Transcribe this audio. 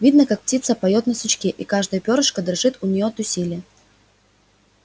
видно как птица поёт на сучке и каждое пёрышко дрожит у нее от усилия